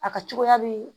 A ka cogoya be